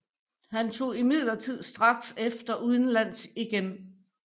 Han tog imidlertid straks efter udenlands igen